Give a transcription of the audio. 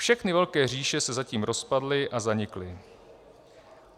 Všechny velké říše se zatím rozpadly a zanikly.